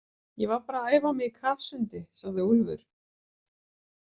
Ég var bara að æfa mig í kafsundi, sagði Úlfur.